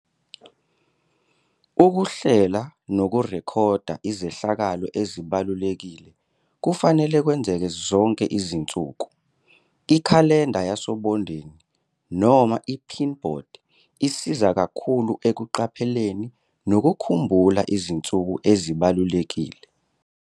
Ukuhlela nokurekhoda izehlakalo ezibalulekile kufanele kwenzeke zonke izinsuku. Ikhalenda yasobondeni noma i-pin board isiza kakhulu ekuqapheleni nokukhumbula izinsuku ezibalulekile.